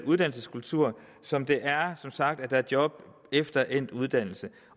uddannelseskultur som det som sagt er at der er job efter endt uddannelse